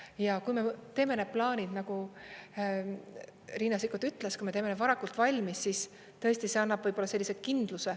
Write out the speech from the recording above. Ja kui me teeme need plaanid, nagu Riina Sikkut ütles, kui me teeme need varakult valmis, siis tõesti see annab kindluse.